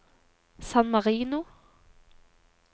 San Marino